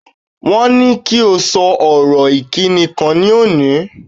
Wọ́n ní kí o sọ ọ̀rọ̀ ìkíni kan ní òní.